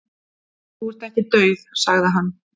"""Þú ert ekki dauð, sagði hann."""